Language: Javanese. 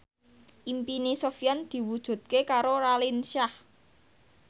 impine Sofyan diwujudke karo Raline Shah